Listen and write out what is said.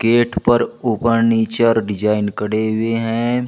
Gate पर ऊपर नीचे और डिजाइन कढ़े हुए हैं।